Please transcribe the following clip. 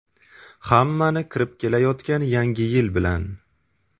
Hammani kirib kelayotgan Yangi yil bilan!